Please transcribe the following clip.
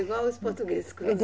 Igual os portugueses.